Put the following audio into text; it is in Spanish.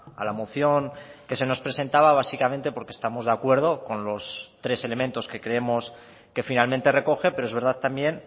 a la moción que se nos presentaba básicamente porque estamos de acuerdo con los tres elementos que creemos que finalmente recoge pero es verdad también